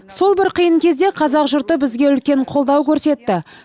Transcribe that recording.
сол бір қиын кезде қазақ жұрты бізге үлкен қолдау көрсетті